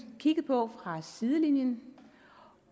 kigget på fra sidelinjen